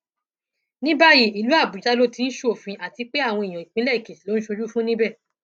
ní báyìí ìlú àbújá ló ti ń ṣòfin àti pé àwọn èèyàn ìpínlẹ èkìtì ló ń ṣojú fún níbẹ